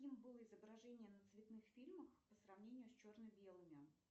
каким было изображение на цветных фильмах по сравнению с черно белыми